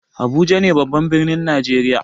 Abuja ne babban birnin najeriya.